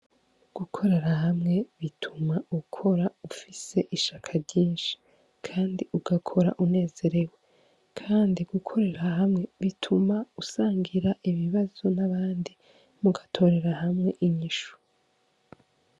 Gukorera hamwe bituma ukora ufise ishaka ryinshi kandi ugakora unezerewe , kandi gukorera hamwe bituma usangira ibibazo n'abandi mugatorera hamwe inyishu.